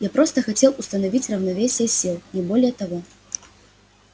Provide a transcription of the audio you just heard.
я просто хотел установить равновесие сил не более того